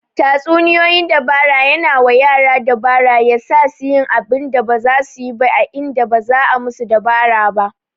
Tatsuniyoyin dabara yana wa yara dabara ya sasu yin abinda ba zasu suyi ba indan ba'a musu dabara ba